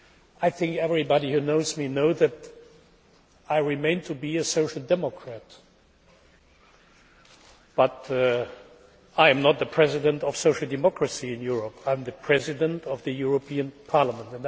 I think everybody who knows me knows that I remain a social democrat, but I am not the president of social democracy in Europe I am the President of the European Parliament.